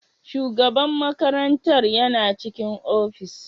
Shugaban makarantar yana cikin ofis?